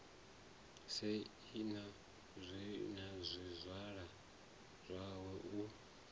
sei na zwizwala zwawe u